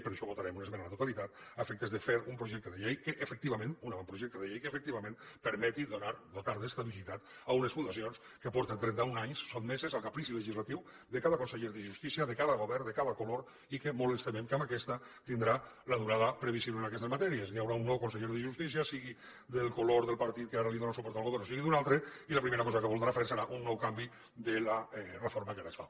per això votarem una esmena a la totalitat a efectes de fer un projecte de llei que efectivament un avantprojecte de llei que efectivament permeti dotar d’estabilitat unes fundacions que fa trenta un anys que estan sotmeses al caprici legislatiu de cada conseller de justícia de cada govern de cada color i que molt ens temem que amb aquesta tindrà la durada previsible en aquestes matèries hi haurà un nou conseller de justícia sigui del color del partit que ara dóna suport al govern o sigui d’un altre i la primera cosa que voldrà fer serà un nou canvi de la reforma que ara es fa